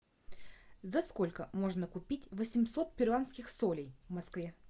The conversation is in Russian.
за сколько можно купить восемьсот перуанских солей в москве